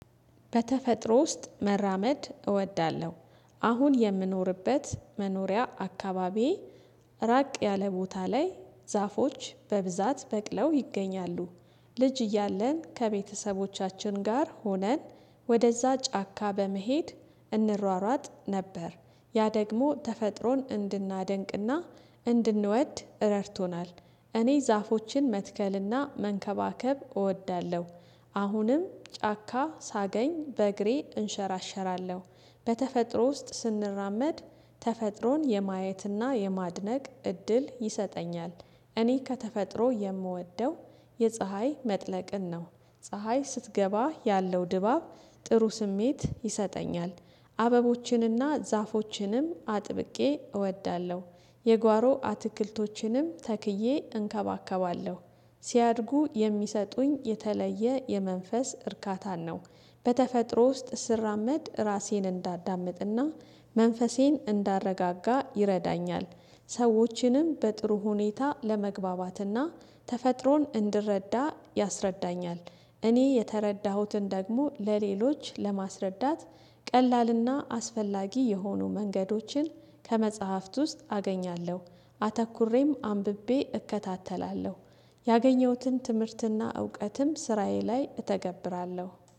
በተፈጥሮ ውስጥ መራመድ እወዳለሁ። አሁን የምኖርበት መኖሪያ አካባቢ። ራቅ ያለ ቦታ ላይ ዛፎች በብዛት በቅለው ይገኛሉ። ልጅ እያለን ከቤተሰቦቻችን ጋር ሆነን። ወደዛ ጫካ በመሄድ እንሯሯጥ ነበር ያ ደግሞ ተፈጥሮን እንድናደንቅና እንድንወድ ረድቶናል። እኔ ዛፎችን መትከልና መንከባከብ እወዳለሁ። አሁንም ጫካ ሳገኝ በእግሬ እንሸራሸራለሁ። በተፈጥሮ ውስጥ ስንራመድ ተፈጥሮን የማየትና የማድነቅ እድል ይሰጠኛል። እኔ ከተፈጥሮ የምወደው የፀሀይ መጥለቅን ነው። ፀሀይ ስትገባ ያለው ድባብ ጥሩ ስሜት ይሰጠኛል። አበቦችንና ዛፎችንም አጥብቄ እወዳለሁ። የጓሮ አትክልቶችንም ተክዬ እንከባከባለሁ። ሲያድጉ የሚሰጡኝ የተለየ የመንፈስ እርካታን ነው። በተፈጥሮ ውስጥ ስራመድ ራሴን እንዳዳምጥና መንፈሴን ይረዳኛል። ሰዎችንም በጥሩ ሁኔታ ለመግባባትና ተፈጥሮን እንድረዳ ያስረዳኛል። እኔ የተረዳሁትን ደግሞ ለሌሎች ለማስረዳት ቀላልና አስፈላጊ የሆኑ መንገዶችን ከመጽሐፍት ውስጥ አገኛለሁ። አተኩሬም አንብቤ እከታተላለሁ። ያገኘሁትን ትምህርትና እውቀትም ስራዬ ላይ እተገብራለሁ